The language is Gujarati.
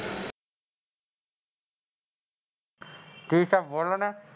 આગ તે પણ આગ વધારી હતી હું તમને હું ક્વ,